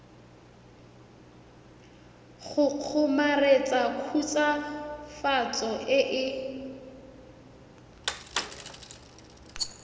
go kgomaretsa khutswafatso e e